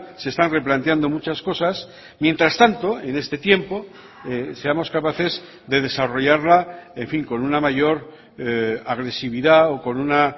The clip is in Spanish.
se están replanteando muchas cosas mientras tanto en este tiempo seamos capaces de desarrollarla en fin con una mayor agresividad o con una